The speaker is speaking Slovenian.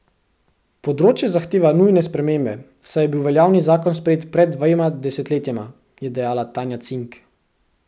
Področje zahteva nujne spremembe, saj je bil veljavni zakon sprejet pred dvema desetletjema, je dejala Tanja Cink.